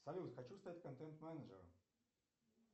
салют хочу стать контент менеджером